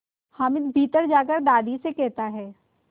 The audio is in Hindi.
हामिद भीतर जाकर दादी से कहता